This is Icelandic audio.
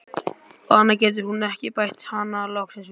Og annað getur hún ekki, bætti hann loksins við.